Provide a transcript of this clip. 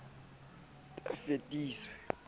ba ne ba fetotswe ke